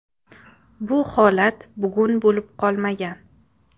Bu holat bugun bo‘lib qolmagan.